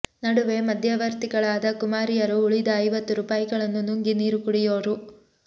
ನಡುವೆ ಮಧ್ಯವರ್ತಿಗಳಾದ ಕುಮಾರಿಯರು ಉಳಿದ ಐವತ್ತು ರೂಪಾಯಿಗಳನ್ನು ನುಂಗಿ ನೀರು ಕುಡಿಯೋರು